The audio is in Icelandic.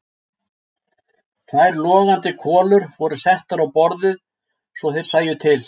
Tvær logandi kolur voru settar á borðið svo þeir sæju til.